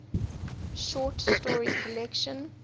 short story collection